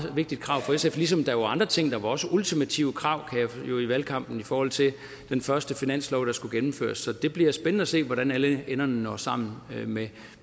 vigtigt krav for sf ligesom der jo er andre ting der var også ultimative krav i valgkampen i forhold til den første finanslov der skulle gennemføres så det bliver spændende at se hvordan alle enderne når sammen